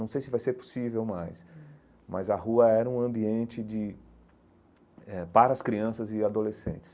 Não sei se vai ser possível mais, mas a rua era um ambiente de eh para as crianças e adolescentes.